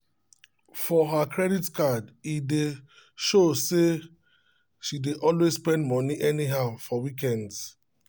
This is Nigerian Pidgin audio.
for her credit card e dey show say she dey always spend money anyhow for weekends